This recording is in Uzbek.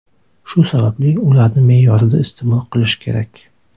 Shu sababli ularni me’yorida iste’mol qilish kerak.